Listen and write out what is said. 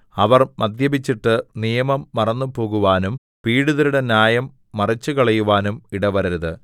അവർ മദ്യപിച്ചിട്ട് നിയമം മറന്നുപോകുവാനും പീഡിതരുടെ ന്യായം മറിച്ചുകളയുവാനും ഇടവരരുത്